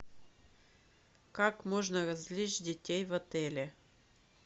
как можно развлечь детей в отеле